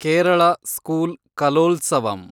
Kerala school Kalolsavam